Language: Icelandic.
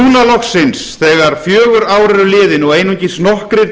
loksins þegar fjögur ár eru liðin og einungis nokkrir